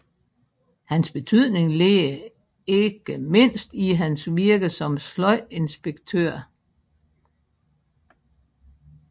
Hans betydning ligger ikke mindst i hans virke som sløjdinspektør